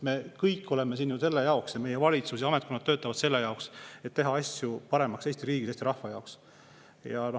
Me kõik oleme siin ju selle jaoks ning meie valitsus ja ametkonnad töötavad selle jaoks, et teha asju paremaks Eesti riigi ja Eesti rahva jaoks.